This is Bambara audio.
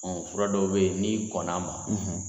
Fura dɔw bɛ yen n'i kɔnna a ma.